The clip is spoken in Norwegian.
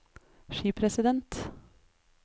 skipresident